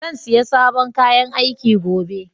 Zan siya sabon kayan aiki gobe.